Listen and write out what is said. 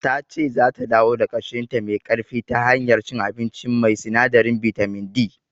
Tace zata dawo da kashinta me ƙarfi ta hanyar cin abinci mai sinadarin bitamin D.